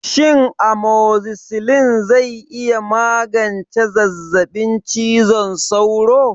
Shin amozzisilin zai iya magance zazzabin cizon sauro?